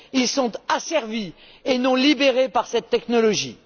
ils sont asservis et non libérés par cette technologie.